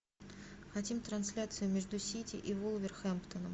хотим трансляцию между сити и вулверхэмптоном